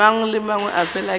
a mangwe ke fela ke